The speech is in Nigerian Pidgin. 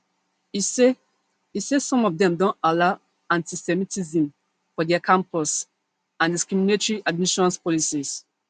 e say e say some of dem don allow antisemitism for dia campus and discriminatory admissions policies